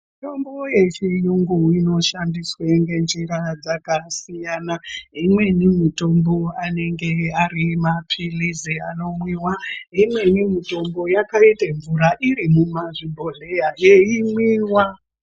Mutombo yechiyungu inoshandiswe ngenjira yakasiyana siyana imweni mutombo anenge ari mapirizi anomwiwa imweni mutombo yakaita mvura iri mummazvibhodhleya yeimwiwa